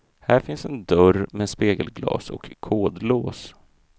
Här finns en dörr med spegelglas och kodlås.